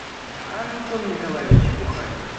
антон николаевич бухарин